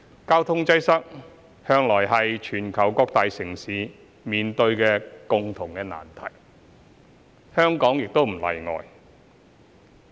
交通擠塞向來是全球各個大城市共同面對的難題，香港亦不例外。